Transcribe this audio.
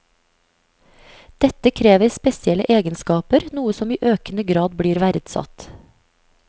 Dette krever spesielle egenskaper, noe som i økende grad blir verdsatt.